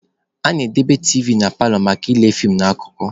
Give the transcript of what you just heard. A na-edobe tiivi na paalọ maka ịle fiim na akụkọ.